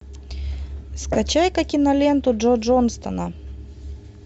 скачай ка киноленту джо джонсона